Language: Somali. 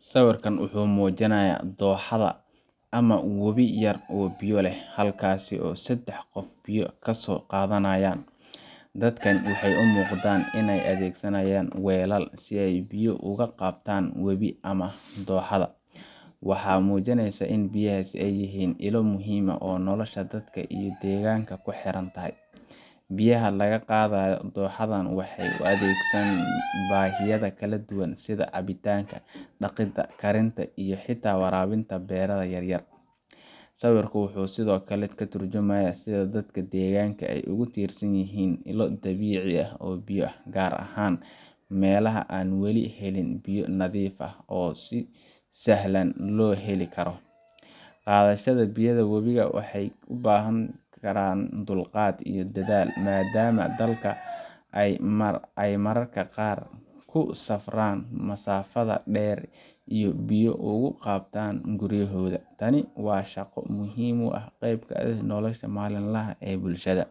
Sawirkan wuxuu muujinaya dooxada ama webi yar oo biyo leh halkaas oo sedex qof biyo kaso qaadanayan, dadkan waxay umuuqdan inay adeegsanayan weelal si ay biyo oga qaatan webi ama dooxada, waxa muujineysa inay biyahas ay yihiin illa muhiim ah oo nolosha dadka iyo deegaanka kuxirantahay, biyaha laga qaadayo dooxadan waxay adeegsadaan baahiyaha kala duban sida caabitanka, dhaqida, karinta iyo xita warabinta beeraha yaryar, sawirku wuxuu sidokale katarjumaya sida dadka deegaanku ay ogu tirsan yihiin illo dabiici ah oo biyo ah gaar ahan melaha an weli helin biyo nadiif ah oo si sahlan loo heli karo, qaadashada biyaha webiga waxay ubahan karaan dulqad iyo daal maadama dalka ay mararka qaar kusafraan masaafada dheer iyo biyo ogu qaatan guriyahooda, tani waa shaqo muhiim u ah qeb nolosha malin laha ee bulshada,